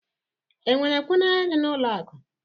Enwere kwụ n'ahịrị n'ụlọ akụ?